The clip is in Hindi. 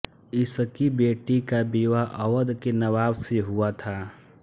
इसकी बेटी का विवाह अवध के नवाब से हुआ था